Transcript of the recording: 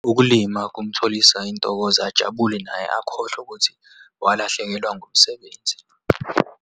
Ukulima kumtholisa intokozo, ajabule naye akhohlwe ukuthi walahlekelwa ngumsebenzi.